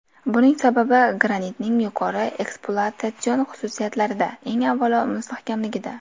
Buning sababi granitning yuqori ekspluatatsion xususiyatlarida: eng avvalo, mustahkamligida.